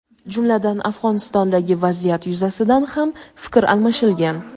jumladan Afg‘onistondagi vaziyat yuzasidan ham fikr almashilgan.